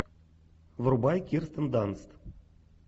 врубай кирстен данст